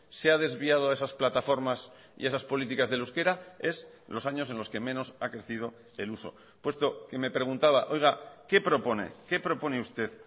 se ha desviado a esas plataformas y esas políticas del euskera es los años en los que menos ha crecido el uso puesto que me preguntaba qué propone qué propone usted